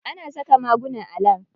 Ana saka maguna a lab.